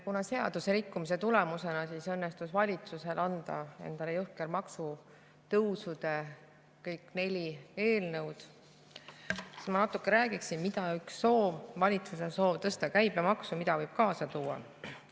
Kuna seaduse rikkumise tulemusena õnnestus valitsusel anda üle kõik neli jõhkrat maksutõusu eelnõu, siis ma natuke räägiksin, mida üks valitsuse soov, tõsta käibemaksu, võib kaasa tuua.